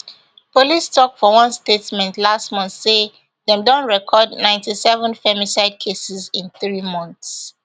police tok for one statement last month say dem don record ninety-seven femicide cases in three months